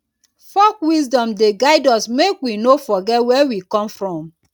folk wisdom dey guide us make we no forget where we come from.